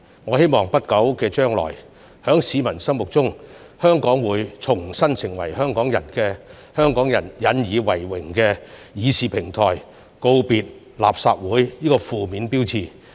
我希望在不久將來，在市民心目中，立法會會重新成為香港人引以為榮的議事平台，告別"垃圾會"這個負面標籤。